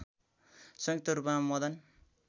संयुक्त रूपमा मदन